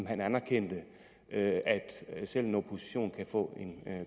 at man anerkendte at selv en opposition kan få en